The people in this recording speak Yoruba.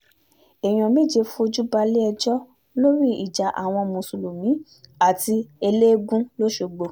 èèyàn méje fojú balẹ̀-ẹjọ́ lórí ìjà àwọn mùsùlùmí àti ẹlẹ́ẹ̀gùn lọ́sgbọ̀